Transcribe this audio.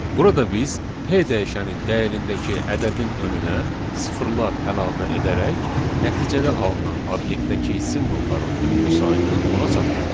Burada biz P dəyişənin dəyərindəki ədədin önünə sıfırlar əlavə edərək nəticədə alınan obyektdəki simvolların ümumi sayını ona çatdırdıq.